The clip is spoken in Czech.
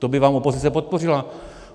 To by vám opozice podpořila.